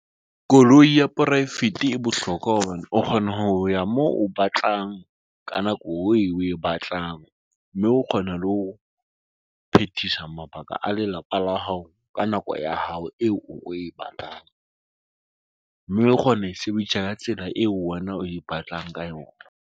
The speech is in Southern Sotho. Koloi ya poraefete e bohlokwa hobane o kgona ho ya moo o batlang ka nako eo o e batlang, mme o kgona le ho phethisa mabaka a lelapa la hao ka nako ya hao eo o e batlang mme o kgona ho e sebedisa ka tsela eo wena o e batlang ka yona.